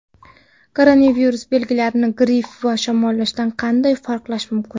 Koronavirus belgilarini gripp va shamollashdan qanday farqlash mumkin?.